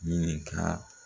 Ɲininkaa